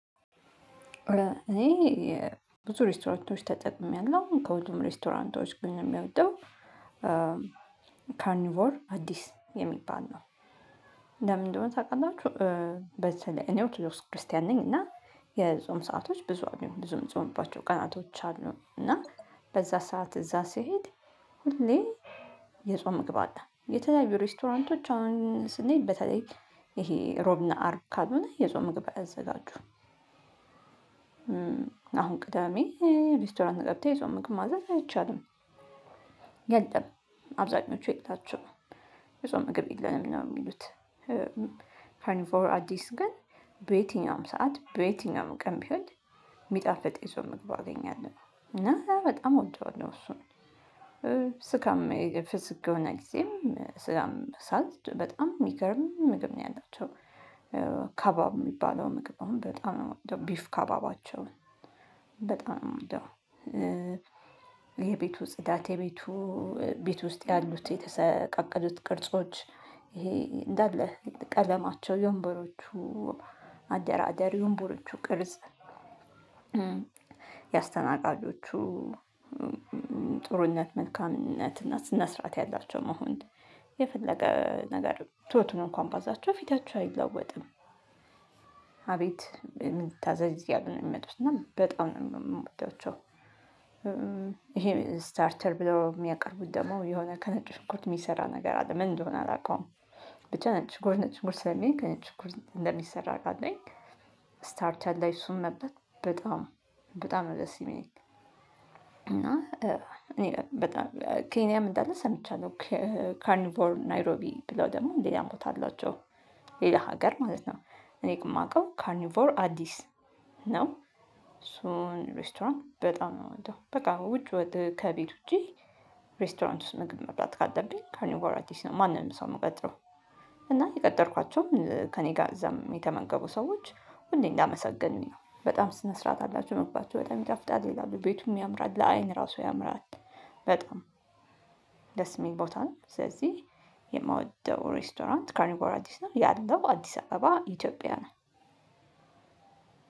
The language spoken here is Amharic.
እኔ ብዙ ሬስቶራንቶች ተጠቅሜያለሁ ከሁሉም ሬስቶራንቶች ግን የምወደው ካኒውር አዲስ የሚባል ነው። ለምንድነው ታውቃናችሁ ላይ እኔ ኦቶዶክስ ክርስቲያን ነኝ። እና የጾም ሰአቶች ብዙ አሉኝ ብዙ የምጾምባቸው ቀናቶች አሉ። እና በዛ ሰዓት እዛ ሲሄድ ሁሌ የጾም መግባት አለ። የተለያዩ ሬስቶራንቶች አሁን ስንሄድ በተለይ ይሄ እሮብና አርብ ካልሆነ የጾም ምግብ። አያዘጋጁም አሁን ቅዳሜ ሬስቶራንት ገብተህ የሰው ምክር ማዘዝ አይቻልም። ገልጠህ አብዛኞቹ የላቸውም የጾም ምግብ የለንም ነው የሚሉት። ካኒፎር አዲስ ግን በየትኛውም ሰዓት በየትኛውም ቀን ቢሆን የሚጣፍጥ የጾም ምግብ አገኛለሁ እና በጣም እወደዋለሁ። እሱ ስጋም የፍስግ የሆነ ጊዜም ስጋ በምበላበት ሰዓት በጣም የሚገርም ምግብ ነው ያላቸው። ካባብ የሚባለው ምግብ አሁን በጣም ነው የምወደው ቢፍ ካባባቸውን በጣም ነው የምወደው። የቤቱ ጽዳት የቤቱ ቤት ውስጥ ያሉት የተሰቃቀሉት ቅርጾች ይሄ እንዳለ ቀለማቸው የወንበሮቹ አደራደር የወንበሮቹ ቅርጽ። የአስተናጋጆቹ ጥሩነት መልካምነት እና ስነስራአት ያላቸው መሆን የፈለገ ነገር ቶቱን እንኳን ባዛቸው ፊታቸው አይለዋወጥም። አቤት ምን ልታዘዝ አያሉ ነው የሚመጡት እና በጣም ነው የምወዳቸው። ይሄ ስታርተር ብለው የሚያቀርቡት ደግሞ የሆነ ከነጭ ሽንኮት የሚሰራ ነገር አለ ምን እንደሆነ አላውቀውም። ብቻ ነጭ ሽንኩርት ነጭ ሽንኩርት ስለሚል ከነጭ ሽንኩርት እንደሚሰራ አውቃለሁኝ። ስታርት ላይ እሱን መብላት በጣም በጣም ነው ደስ የሚለኝ። እና እኔ በጣም ኬንያም እንዳለ ሰምቻለሁ። ካርኒቮር ናይሮቢ ብለው ደግሞ ሌላም ቦታ አላቸው ሌላ ሀገር ማለት ነው። እኔ የማውቀው ካርኒቮር አዲስ ነው። እሱን ሬስቶራንት በጣም ነው የምወደው በቃ ውጭ ወጥተህ ከቤት ውጪ። ሬስቶራንት ውስጥ ምግብ መብላት ካለብኝ ካርኒቮር አዲስ ነው ማንንም ሰው የምቀጥረው። እና የቀጠርኳቸውም ከእኔ ጋር እዛም የተመንገቡ ሰዎች ሁሌ እንዳመሰገኑኝ ነው በጣም ስነ ስርዓት አላቸው ምግባቸው በጣም ይጣፍጣል ይላሉ ቤቱም ያምራል ለአይን እራሱ ያምራል። በጣም ደስ የሚል ቦታ ነው። ስለዚህ የምወደው ሬስቶራንት ካርኒቮራ አዲስ ነው ያለው አዲስ አበባ ኢትዮጵያ ነው።